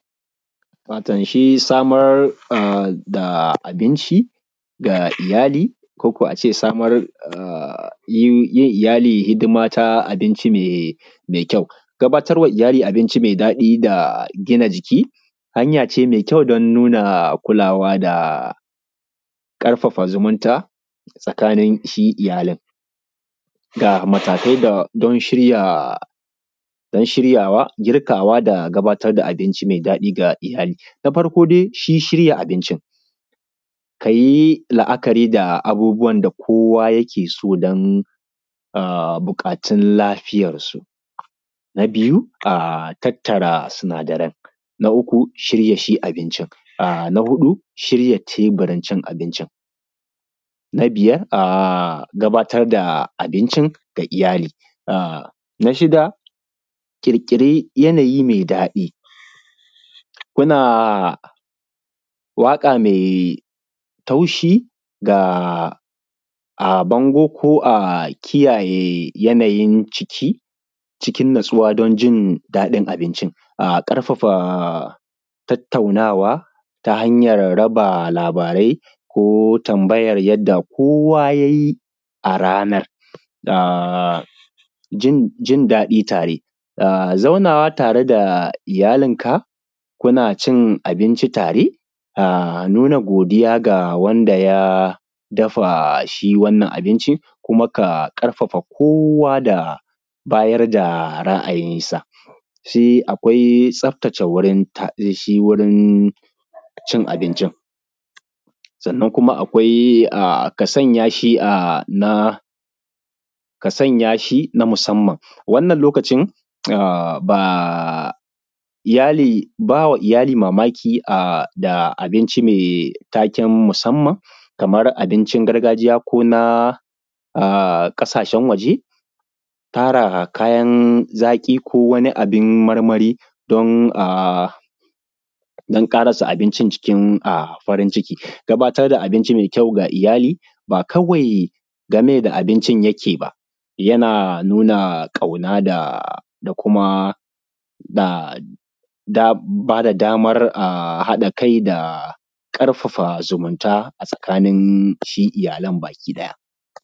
Wato shi samar a da abinci ga iyali koko a ce samar a yi yi iyali hidima ta abinci mai mai kyau, gabatarwa iyali abinci mai daɗi da gina jiki hanya ce mai kyau dan nuna kulawa da ƙarfafa zumunta tsakanin shi iyalin, ga matakai da don shirya don shiryawa, girkawa da gabatar da abinci mai daɗi ga iyali, na farko dai shi shirya abincin ka yi la`akari da abubuwan da kowa yake so don a buƙatun lafiyarsu, na biyu a a tattara sinadaran, na uku a shirya shi abincin, na huɗu shirya tebirin cin abincin, na biyar a gabatar da abincin ga iyali, a na shida, ƙirƙiri yanayi mai daɗi muna waƙa mai taushi ga a bango ko a kiyaye yanayin ciki cikin natsuwa don jin daɗin abincin, a ƙarfafa tattaunawa ta hanyan raba labarai ko tambayar yadda kowa yayi a ranar da jin jin daɗi tare, a zaunawa tare da iyalin ka kuna cin abinci tare a nuna godiya ga wanda ya dafa shi wannan abincin kuma ka ƙarfafa kowa da bayar da ra`ayinsa, sai akwai tsaftace wurin ta shi wurin cin abincin, sannan kuma akwai a ka sanya shi a na ka sanya shin a musamman, wannan lokacin a ba iyali bawa iyali mamaki a da abinci mai taken musamman kamar abincin gargajiya ko na a ƙasashen waje, tara kayan zaƙi ko wani abin marmari don a don ƙarasa abincin cikin a farin ciki, gabatar da abinci mai kyau ga iyali ba kawai game da abinci yake ba yana nuna ƙauna da da kuma da da bada damar haɗa kai da ƙarfafa zumunta a tsakanin shi iyalan gabaki ɗaya.